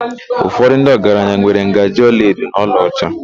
Ụfọdụ ndị ọgaranya nwere ngaji olaedo na olaọcha.